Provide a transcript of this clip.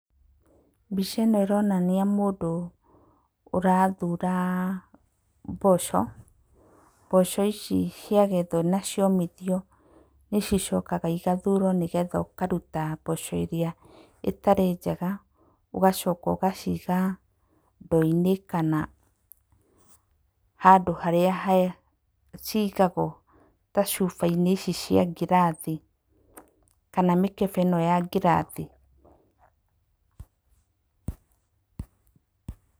Mbica ĩno ĩronania mũndũ ũrathura mboco, mboco ici ciagethwo na ciomithio, nĩ cicokaga igathurwo nĩgetha ũkaruta mboco ĩrĩa ĩtarĩ njega, ũgacoka ũgaciga ndo-inĩ, kana handũ harĩa he cigagwo, ta cuba-inĩ ici cia ngirathi, kana mĩkebe ĩno ya ngirathi.